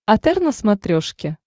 отр на смотрешке